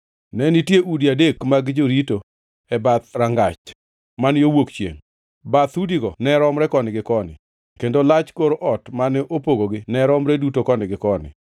Ne nitie udi adek adek mag jorito e bath ei dhorangach man yo wuok chiengʼ. Bathe udigo ne romre koni gi koni, kendo lach kor ot mane opogogi ne romre duto koni gi koni.